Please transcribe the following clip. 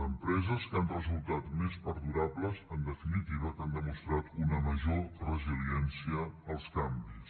d’empreses que han resultat més perdurables en definitiva que han demostrat una major resiliència als canvis